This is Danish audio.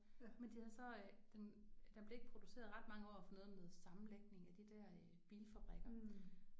Men de havde så øh den den blev ikke produceret ret mange år for noget med noget sammenlægning af de der øh bilfabrikker